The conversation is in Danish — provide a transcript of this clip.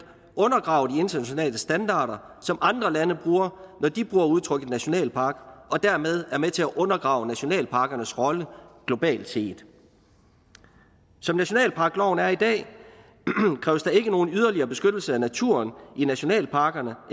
undergraver de internationale standarder som andre lande bruger når de bruger udtrykket nationalpark og dermed er danmark med til at undergrave nationalparkernes rolle globalt set som nationalparkloven er i dag kræves der ikke nogen yderligere beskyttelse af naturen i nationalparkerne